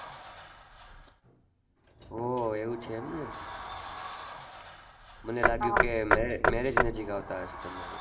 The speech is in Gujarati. એવું છે એમને મને લાગ્યું કે marriage નજીક આવતાં હશે તમારે